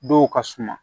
Dɔw ka suma